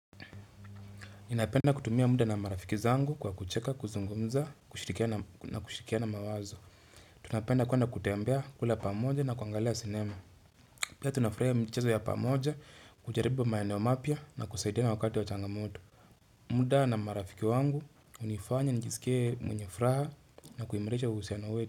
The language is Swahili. Ninapenda kutumia muda na marafiki zangu kwa kucheka, kuzungumza, kushirikiana mawazo. Tunapenda kuenda kutembea, kula pamoja na kuangalia sinema. Pia tunafurahia michezo ya pamoja, kujaribu maneo mapya na kusaidia na wakati wa changamoto. Muda na marafiki wangu, hunifanya nijisikie mwenye furaha na kuimarisha uhusiano wetu.